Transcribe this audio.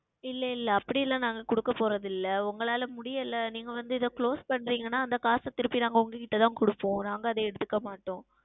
இல்லை இல்லை அப்படி எல்லாம் நாங்கள் கொடுக்க போவது இல்லை உங்களால் முடியவில்லை நீங்கள் வந்து இதை Close செய்கிறீர்கள் என்றால் அந்த காசு திருப்பி நாங்கள் உங்களிடம் தான் கொடுப்போம் நாங்கள் அதை எடுத்து கொள்ள மாட்டோம்